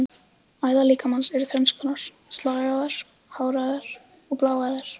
Æðar líkamans eru þrenns konar: slagæðar, háræðar og bláæðar.